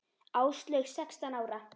Áslaug sextán ára.